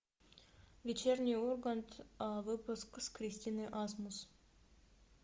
вечерний ургант выпуск с кристиной асмус